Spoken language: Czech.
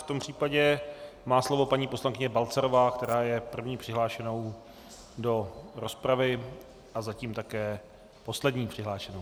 V tom případě má slovo paní poslankyně Balcarová, která je první přihlášenou do rozpravy a zatím také poslední přihlášenou.